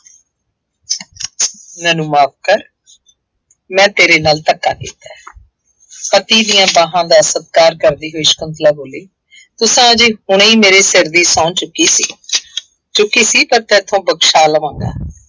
ਮੈਨੂੰ ਮੁਆਫ ਕਰ। ਮੈਂ ਤੇਰੇ ਨਾਲ ਧੱਕਾ ਕੀਤਾ ਹੈ। ਪਤੀ ਦੀਆਂ ਬਾਹਾਂ ਦਾ ਸਤਿਕਾਰ ਕਰਦੀ ਹੋਈ ਸ਼ੰਕੁਤਲਾ ਬੋਲੀ, ਤੁਸਾਂ ਜੀ ਹੁਣੇ ਮੇਰੇ ਸਿਰ ਦੀ ਸਹੁੰ ਚੁੱਕੀ ਸੀ। ਚੁੱਕੀ ਸੀ, ਪਰ ਤੇਰੇ ਤੋਂ ਬਖਸ਼ਾ ਲਵਾਂਗਾ।